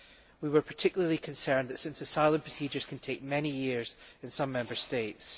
We were particularly concerned about this, because asylum procedures can take many years in some Member States.